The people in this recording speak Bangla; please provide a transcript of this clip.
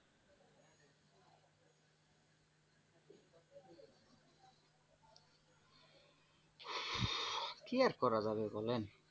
কি আর করা যাবে বলেন?